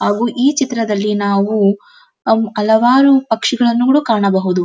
ಹಾಗು ಈ ಚಿತ್ರದಲ್ಲಿ ನಾವು ಅಂ ಹಲವಾರು ಪಕ್ಷಿಗಳನ್ನು ನೋಡು ಕಾಣಬಹುದು.